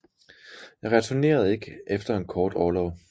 Jeg returnerede ikke efter en kort orlov